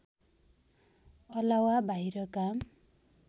अलावा बाहिर काम